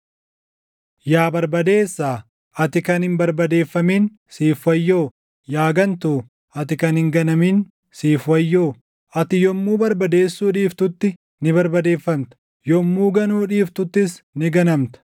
Yaa barbadeessaa, ati kan hin barbadeeffamin siif wayyoo! Yaa gantuu, ati kan hin ganamin siif wayyoo! Ati yommuu barbadeessuu dhiiftutti ni barbadeeffamta; yommuu ganuu dhiiftuttis ni ganamta.